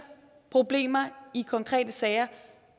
problemer i konkrete sager